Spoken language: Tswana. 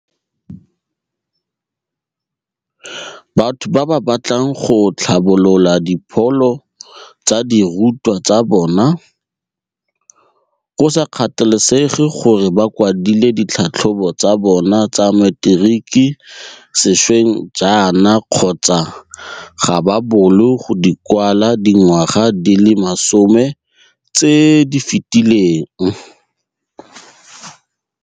Batho ba ba batlang go tlhabolola dipholo tsa dirutwa tsa bona, go sa kgathalesege gore ba kwadile ditlhatlhobo tsa bona tsa materiki sešweng jaana kgotsa ga ba boolo go di kwala dingwaga di le masome tse di fetileng.